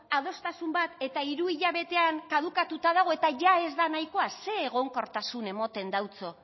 adostasun bat eta hiru hilabetean kadukatuta dago eta ia ez da nahikoa ze egonkortasun emoten deutso